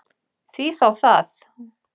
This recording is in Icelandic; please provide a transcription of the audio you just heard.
Því þá það?